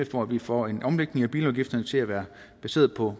for at vi får en omlægning af bilafgifterne til at være baseret på